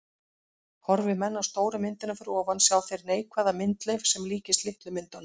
Horfi menn á stóru myndina fyrir ofan sjá þeir neikvæða myndleif sem líkist litlu myndunum.